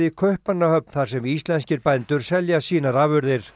Kaupmannahöfn þar sem íslenskir bændur selja sínar afurðir